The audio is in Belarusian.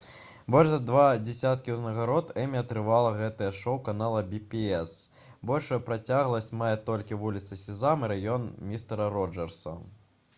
больш за два дзесяткі ўзнагарод «эмі» атрымала гэтае шоу канала «пі-бі-эс». большую працягласць мае толькі «вуліца сезам» і «раён містэра роджэрса»